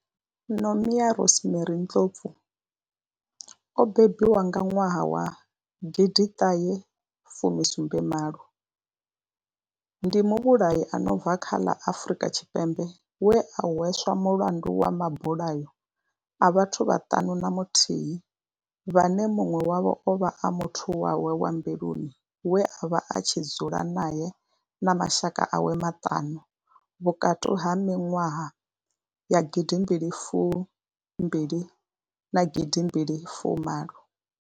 Nomia Rosemary Ndlovu o bebiwaho nga 1978 ndi muvhulahi a no bva kha ḽa Afurika Tshipembe we a hweswa mulandu wa mabulayo a vhathu vhaṱanu na muthihi vhane munwe wavho ovha a muthu wawe wa mbiluni we avha a tshi dzula nae na mashaka awe maṱanu vhukati ha minwaha ya 2012 na 2018.